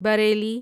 Bareilly